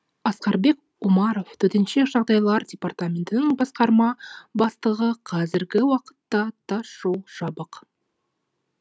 асқарбек омаров төтенше жағдайлар департаментінің басқарма бастығы қазіргі уақытта тасжол жабық